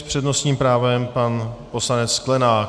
S přednostním právem pan poslanec Sklenák.